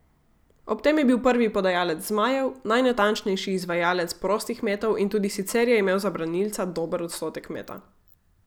Ob tem je bil prvi podajalec zmajev, najnatančnejši izvajalec prostih metov in tudi sicer je imel za branilca dober odstotek meta.